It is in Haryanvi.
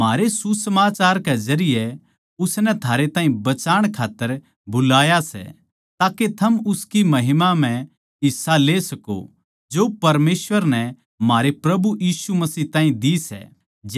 म्हारे सुसमाचार के जरिये उसनै थारै ताहीं बचाण खात्तर बुलाया सै ताके थम उसकी महिमा म्ह हिस्सा ले सको जो परमेसवर नै म्हारे प्रभु यीशु मसीह ताहीं दी सै